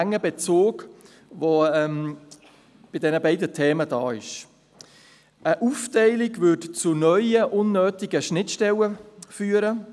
Eine Aufteilung würde zu neuen, unnötigen Schnittstellen führen.